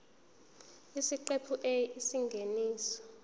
isiqephu a isingeniso